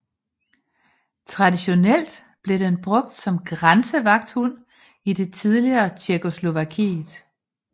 Traditionelt blev den brugt som grænsevagthund i det tidligere Tjekkoslovakiet